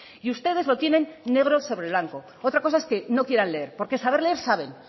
y ustedes lo tienen negro sobre blanco otra cosa es que no quieran leer porque saber leer saben